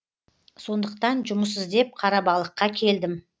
сондықтан жұмыс іздеп қарабалыққа келдім